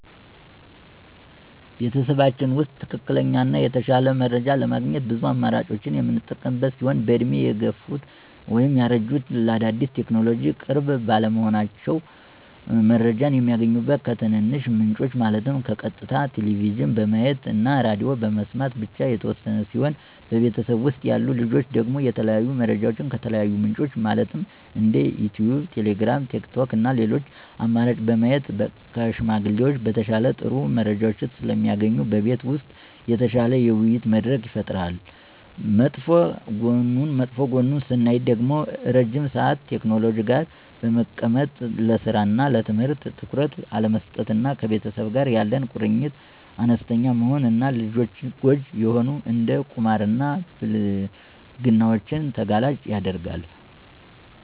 በቤተሰባችን ውስጥ ትክክለኛ እና የተሻለ መረጃ ለማግኘት ብዙ አማራጮችን የምንጠቀም ሲሆን በእድሜ የገፉት (ያረጁት) ለአዳዲስ ቴክኖሎጅዎች ቅርብ ባለመሆናቸው። መረጃ የሚያገኙት ከትንንሽ ምንጮች ማለትም ቀጥታ ቴሌቭዥን በማየት እና ሬድዬ በመስማት ብቻ የተወሰነ ሲሆን በቤተሰብ ውስጥ ያሉ ልጆች ደግሞ የተለያዩ መረጃዎችን ከተለያዩ ምንጮች ማለትም እንደ ዩቲዩብ: ቴሌግራም: ቲክቶክ እና ሌሎች አማራጭ በማየት ከሽማግሌዎች በተሻለ ጥሩ መረጃዎች ስለሚያገኙ በቤት ውስጥ የተሻለ የውይይት መድረክ ይፈጠራል። መጥፎ ጎኑን ስናይ ደግሞ ረዥም ሰአት ቴክኖሎጂ ጋር በመቀመጥ ለስራ እና ለትምህርት ትኩረት አለመስጠት እና ከቤተሰብ ጋር ያለ ቁርኝት አነስተኛ መሆን እና ለልጆች ጎጅ የሆኑ እንደ ቁማር እና ብልግናዎችን ተጋላጭ ያደርጋል።